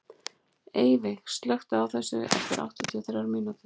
Eyveig, slökktu á þessu eftir áttatíu og þrjár mínútur.